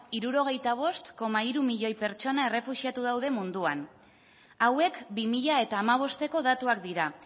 hirurogeita bost koma hiru milioi pertsona errefuxiatu daude munduan hauek bi mila hamabosteko datuak dira